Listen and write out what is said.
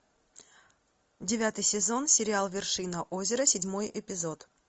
девятый сезон сериал вершина озера седьмой эпизод